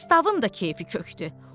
Pristavın da keyfi kökdü.